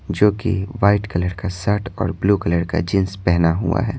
जो कि white colour का शर्ट और ब्लू कलर का जींस पहना हुआ है।